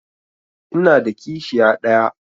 Ina da kishiya ɗaya.